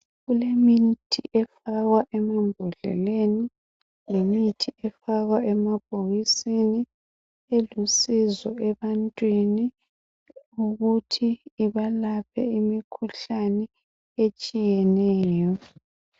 Kulemithi efakwa emambodleleni lemithi efakwa emabhokisini elusizo ebantwini ukuthi ibalaphe imikhuhlane etshiyeneyo.